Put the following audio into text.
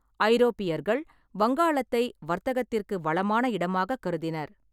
ஐரோப்பியர்கள் வங்காளத்தை வர்த்தகத்திற்கு வளமான இடமாகக் கருதினர்.